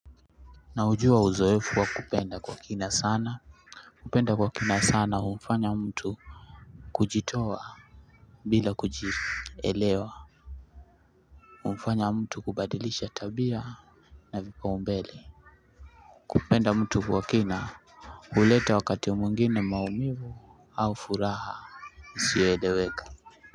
Naujua uzoefu wa kupenda kwa kina sana. Kupenda kwa kina sana humfanya mtu. Kujitoa bila kujielewa humfanya mtu kubadilisha tabia. Na vipaumbele kupenda mtu kwa kina huleta wakati mwingine maumivu au furaha isiyoeleweka.